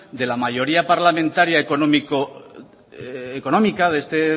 de la mayoría parlamentaria económica de este